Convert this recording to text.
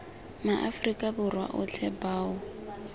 ma afrika borwa otlhe bao